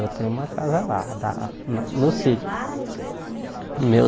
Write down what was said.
Eu tenho uma casa lá lá, no no sítio. meu